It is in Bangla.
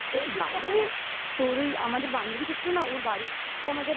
তোর ওই আমাদের বান্ধবীটা ছিল না ওর বাড়ি